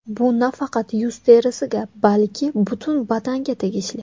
Bu nafaqat yuz terisiga, balki butun badanga tegishli.